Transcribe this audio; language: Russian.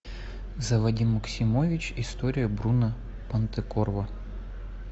заводи максимович история бруно понтекорво